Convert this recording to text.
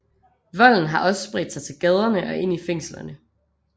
Volden har også spredt sig til gaderne og ind i fængslerne